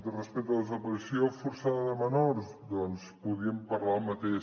respecte a la desaparició forçada de menors doncs podríem parlar del mateix